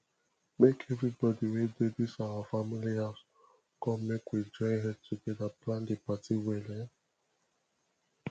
make everybody wey dey dis our family house come make we join head togeda plan the party well um